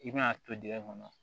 I bɛna to dingɛ kɔnɔ